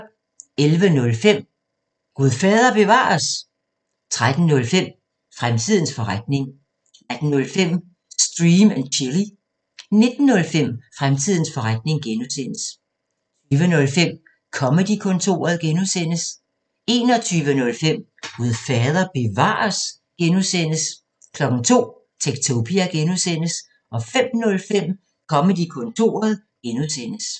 11:05: Gud fader bevares? 13:05: Fremtidens forretning 18:05: Stream & Chill 19:05: Fremtidens forretning (G) 20:05: Comedy-kontoret (G) 21:05: Gud fader bevares? (G) 02:00: Techtopia (G) 05:05: Comedy-kontoret (G)